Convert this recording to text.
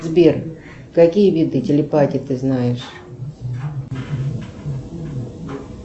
сбер какие виды телепатии ты знаешь